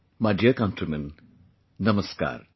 My dear countrymen, Namaskar